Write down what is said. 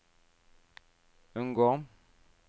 unngå